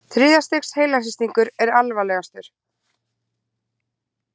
Þriðja stigs heilahristingur er alvarlegastur.